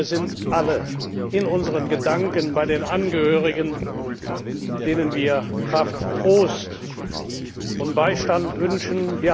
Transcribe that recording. Wir sind alle in unseren Gedanken bei den Angehörigen, denen wir Kraft, Trost und Beistand wünschen.